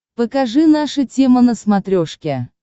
покажи наша тема на смотрешке